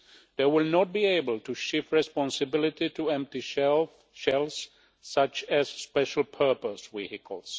They will not be able to shift responsibility to empty shelves such as special-purpose vehicles.